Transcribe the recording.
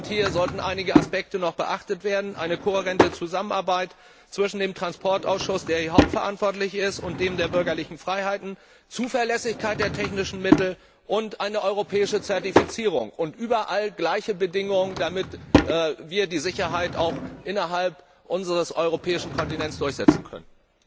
Hier sollten noch einige Aspekte beachtet werden Eine kohärente Zusammenarbeit zwischen dem Verkehrsausschuss, der hier federführend ist, und dem Ausschuss für bürgerliche Freiheiten, die Zuverlässigkeit der technischen Mittel und eine europäische Zertifizierung sowie überall gleiche Bedingungen, damit wir die Sicherheit auch innerhalb unseres europäischen Kontinents durchsetzen können.